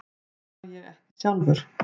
Það má ég ekki sjálfur.